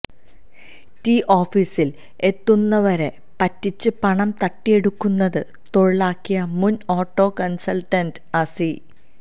T ഓഫീസിൽ എത്തുന്നവരെ പറ്റിച്ച് പണം തട്ടിയെടുക്കുന്നത് തൊഴിലാക്കിയ മുൻ ഓട്ടോകൺസൾട്ടന്റ് അസി